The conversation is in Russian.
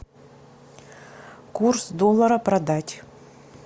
курс доллара продать